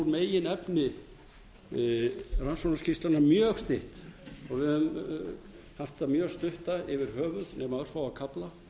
meginefni rannsóknarskýrslunnar mjög stytt og við höfum haft hana mjög stutta yfir höfuð nema örfá kafla